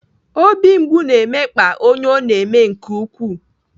Obi mgbu na-emekpa onye ọ na-eme nke ukwuu.